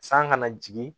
San kana jigin